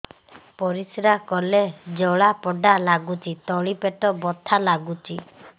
ପରିଶ୍ରା କଲେ ଜଳା ପୋଡା ଲାଗୁଚି ତଳି ପେଟ ବଥା ଲାଗୁଛି